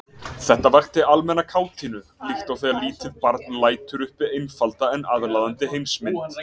Þetta vakti almenna kátínu líkt og þegar lítið barn lætur uppi einfalda en aðlaðandi heimsmynd.